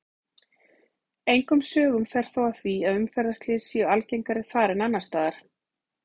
Engum sögum fer þó af því að umferðarslys séu algengari þar en annars staðar.